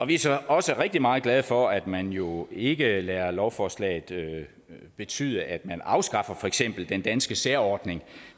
vi er så også rigtig meget glade for at man jo ikke lader lovforslaget betyde at man afskaffer for eksempel den danske særordning